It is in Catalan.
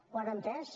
ho han entès